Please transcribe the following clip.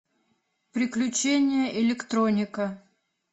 приключения электроника